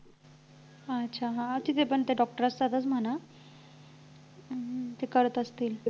अच्छा हा तिथे पण ते doctor असतातच आहे ना हम्म हम्म हम्म ते करत असतील